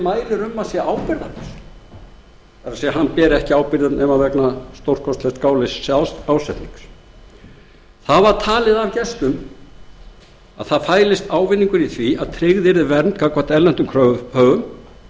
mælir um að sé ábyrgðarlaus það er hann ber ekki ábyrgð nema vegna stórkostlegs gáleysis eða ásetnings gestir töldu að ávinningur fælist í því að tryggð yrði vernd gagnvart erlendum kröfuhöfum og